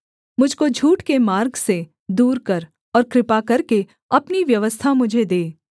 मुझ को झूठ के मार्ग से दूर कर और कृपा करके अपनी व्यवस्था मुझे दे